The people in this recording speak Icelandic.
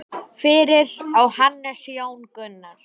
Fyrir á Hannes Jón Gunnar.